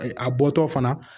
A bɔtɔtɔ fana